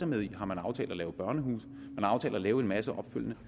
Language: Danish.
med i har man aftalt at lave børnehuse man har aftalt at lave en masse opfølgende